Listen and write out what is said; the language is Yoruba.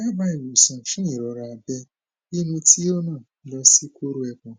daba iwosan fun irora abe inu ti o ran lo si koro epon